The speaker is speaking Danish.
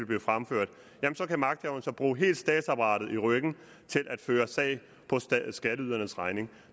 blev fremført kan magthaverne bruge hele statsapparatet til at føre sag på skatteydernes regning